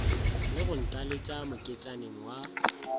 le go ntaletša moketšaneng wa